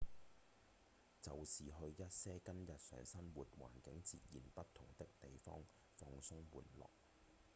就是去一些跟日常生活環境截然不同的地方放鬆玩樂